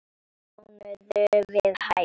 Mánuður við hæfi.